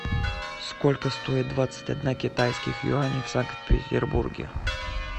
сколько стоит двадцать одна китайских юаней в санкт петербурге